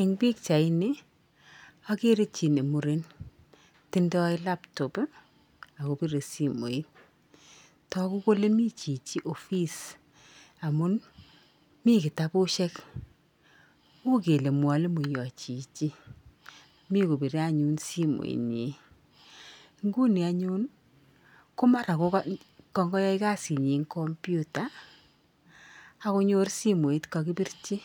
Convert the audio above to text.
Eng pikchaini, akere chi ne muren. Tindoi laptop akopire simoit. Toku kole mi chichi ofis amun mi kitabushek. U kele mwalimoiyo chichi. Mi kopire anyun simoinyi. Nguni anyun, ko mara ko kayae kasinyi eng computer akonyor simoit kokakipirchi.